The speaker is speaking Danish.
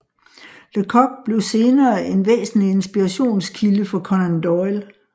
Lecoq blev senere en væsentlig inspirationskilde for Conan Doyle